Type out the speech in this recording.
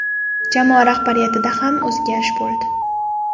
Jamoa rahbariyatida ham o‘zgarish bo‘ldi.